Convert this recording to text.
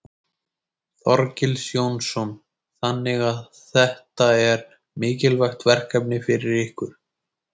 Þorgils Jónsson: Þannig að þetta er, þetta er mikilvægt verkefni fyrir ykkur?